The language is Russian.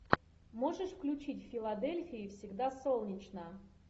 можешь включить в филадельфии всегда солнечно